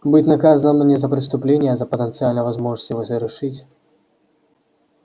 быть наказанным не за преступление а за потенциальную возможность его совершить